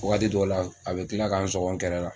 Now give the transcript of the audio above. Wagati dɔ la a bi kila k'an sɔngɔ n kɛrɛ la